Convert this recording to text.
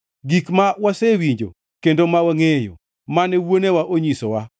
Gik ma wasewinjo kendo ma wangʼeyo, mane wuonewa onyisowa.